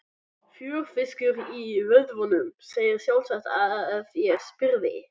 Fjörfiskur í vöðvunum, segðirðu sjálfsagt ef ég spyrði.